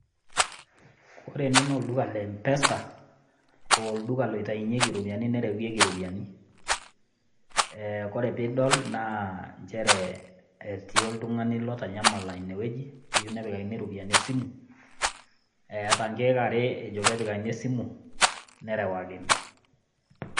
Kore ene naa olduka le Mpesa, olduka lotainyieki iropiani nereweeki iropiani. Ore piidol naa nchere etii oltung'ani otanyamala ine wueji, oyeu nepikakini iropiani esimu, eata inkeek are ejo peepikakini esimu, nerewakini.